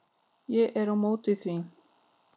Ég er á móti því.